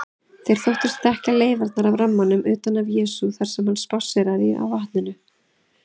Þeir þóttust þekkja leifarnar af rammanum utan af Jesú þar sem hann spásséraði á vatninu.